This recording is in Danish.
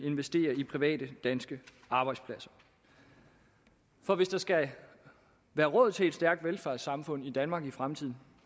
investere i private danske arbejdspladser for hvis der skal være råd til et stærkt velfærdssamfund i danmark i fremtiden